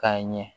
K'a ɲɛ